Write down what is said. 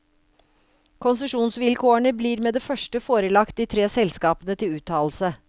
Konsesjonsvilkårene blir med det første forelagt de tre selskapene til uttalelse.